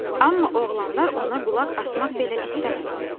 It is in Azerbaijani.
Amma oğlanlar ona qulaq asmaq belə istəmədilər.